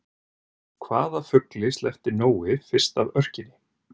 Hvaða fugli sleppti Nói fyrst af örkinni?